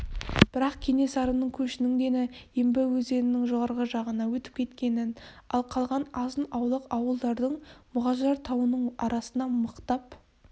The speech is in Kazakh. бірақ кенесары көшінің дені ембі өзенінің жоғарғы жағына өтіп кеткенін ал қалған азын-аулақ ауылдардың мұғажар тауының арасына мықтап